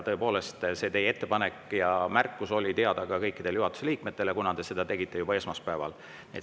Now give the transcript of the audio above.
Tõepoolest, see teie ettepanek ja märkus oli teada kõikidele juhatuse liikmetele, kuna te tegite selle juba esmaspäeval.